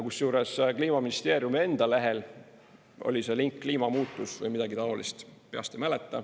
Kusjuures Kliimaministeeriumi enda lehel oli see link "Kliimamuutus" või midagi taolist, peast ei mäleta.